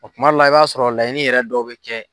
O kuma dɔw la i b'a sɔrɔ laɲini yɛrɛ dɔw bɛ kɛ.